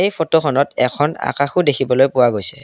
এই ফটোখনত এখন অকাশও দেখিবলৈ পোৱা গৈছে।